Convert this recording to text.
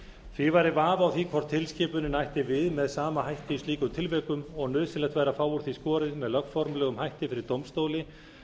því væri vafi á því hvort tilskipunin ætti við með sama hætti í slíkum tilvikum og nauðsynlegt væri að fá úr því skorið með lögformlegum hætti fyrir dómstóli